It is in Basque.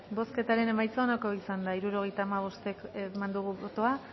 bozketaren emaitza onako izan da hirurogeita hamabost eman dugu bozka